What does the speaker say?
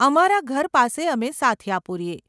અમારા ઘર પાસે અમે સાથીયા પુરીએ.